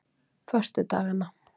föstudaganna